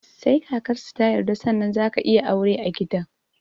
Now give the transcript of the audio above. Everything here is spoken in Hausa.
Sai kakarsu ta yarda sannan zaka iya aure a gidan